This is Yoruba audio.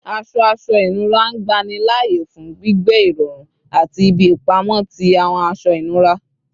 Aṣọ aṣọ inura ngbanilaaye fun gbigbẹ irọrun ati ibi ipamọ ti awọn aṣọ inura